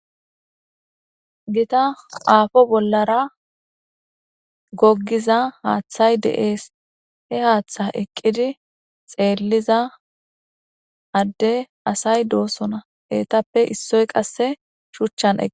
gita aafo bollara goggiza haaththay deees he haaththa eqqidi xeelliza adde asay doosona heetappe issoy qasse shuchchan eqi